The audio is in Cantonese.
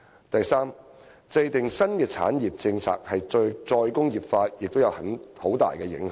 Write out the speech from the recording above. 第三，制訂新的產業政策對"再工業化"亦有很大影響。